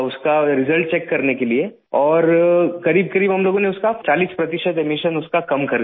उसका result check करने के लिए और करीबकरीब हम लोगों ने उसका चालीस प्रतिशत एमिशन उसका कम कर दिया